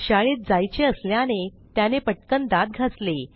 शाळेत जायचे असल्याने त्याने पटकन दात घासले